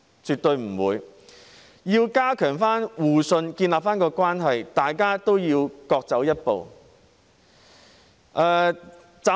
絕對不會。要加強互信，重建關係，大家都要多走一步。